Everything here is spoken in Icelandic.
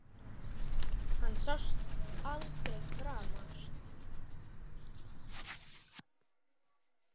Hann sást aldrei framar.